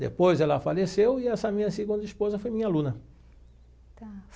Depois ela faleceu e essa minha segunda esposa foi minha aluna. Tá.